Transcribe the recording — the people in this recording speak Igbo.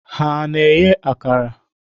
Ha na-eghe akara?